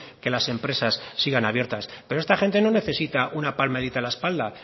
que las empresas sigan abiertas pero esta gente no necesita una palmadita en la espalda